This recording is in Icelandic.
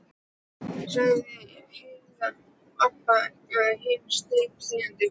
sagði Heiða og Abba hin steinþagnaði.